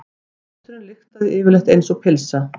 Báturinn lyktaði yfirleitt einsog pylsa.